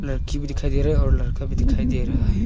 लड़की भी दिखाई दे रहा है और लड़का भी दिखाई दे रहा है।